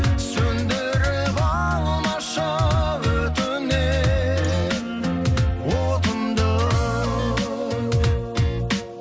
сөндіріп алмашы өтінем отымды